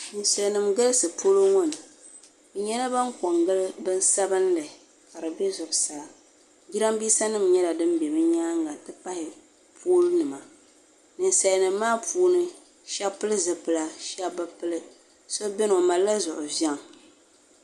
Salinima galisi polo ŋɔ ni bɛ nyɛla ban pe n-gili binsabinlli